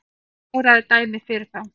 Hann kláraði dæmið fyrir þá